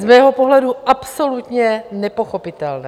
Z mého pohledu absolutně nepochopitelné.